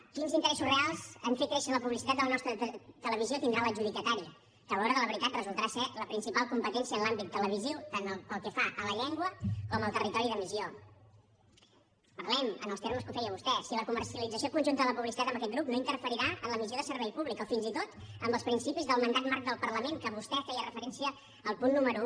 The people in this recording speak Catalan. quins interessos reals a fer créixer la publicitat de la nostra televisió tindrà l’adjudicatari que a l’hora de la veritat resultarà ser la principal competència en l’àmbit televisiu tant pel que fa a la llengua com al territori d’emissió parlem en els termes que ho feia vostè si la comercialització conjunta de la publicitat en aquest grup no interferirà en la missió de servei públic o fins i tot en els principis del mandat marc del parlament a què vostè feria referència al punt número un